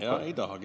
Ja ei tahagi.